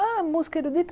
Ah, música erudita?